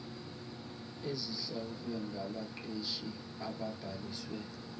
ezihlawulwe ngabaqeshi ababhaliswe